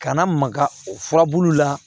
Kana maka o furabuluw la